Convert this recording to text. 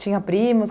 Tinha primos?